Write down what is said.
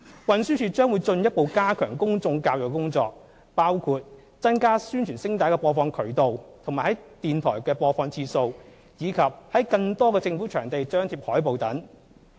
運輸署將會進一步加強公眾教育的工作，包括增加宣傳聲帶的播放渠道和在電台的播放次數，以及在更多的政府場地張貼海報等。